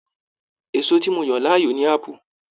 Èso tí mo yan láàyò ni apu.